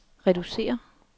reducere